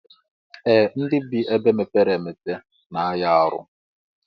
Ee ndi bi na ebe mepere emepe na aya arụ.